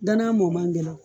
Danan mɔ man gɛlɛ o